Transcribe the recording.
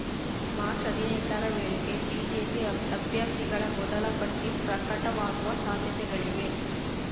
March ಹದಿನೆಂಟ ರವೇಳೆಗೆ BJP ಅಭ್ಯರ್ಥಿಗಳ ಮೊದಲ ಪಟ್ಟಿ ಪ್ರಕಟವಾಗುವ ಸಾಧ್ಯತೆಗಳಿವೆ